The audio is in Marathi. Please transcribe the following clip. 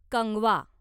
कंगवा